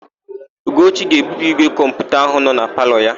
Ugochi ga-ebupu ígwè kọmputa áhụ̀ nọ na palọ ya.